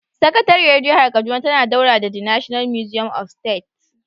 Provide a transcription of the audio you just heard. Sakatariyar jihar kaduna tana daura da The National Museum of State